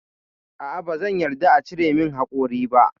A'a bazan yarda a cire min haƙori ba.